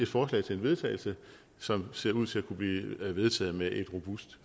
forslag til vedtagelse som ser ud til at kunne blive vedtaget med et robust